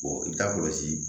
i bɛ taa kɔlɔsi